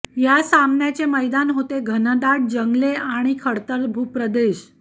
या सामन्याचे मैदान होते घनदाट जंगले आणि खडतर भूप्रदेश